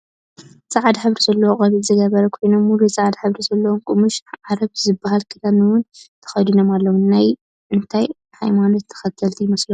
ፃዕዳ ሕብሪ ዘለዎ ቆቢዕ ዝገበሩ ኮይኖም ሙሉእ ፃዕዳ ሕብሪ ዘለዎ ቀሙሽ ዓረብ ዝብሃል ክዳን እውን ተከዲኖም ኣለው። ናይ እንታይ ሃይማኖት ተከተሊቲ ይመስልኩም ?